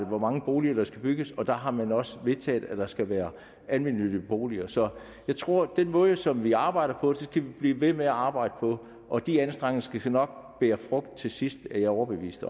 hvor mange boliger der skal bygges fremadrettet og der har man også vedtaget at der skal være almennyttige boliger så jeg tror at den måde som vi arbejder på skal blive ved med arbejde på og de anstrengelser skal nok bære frugt til sidst er jeg overbevist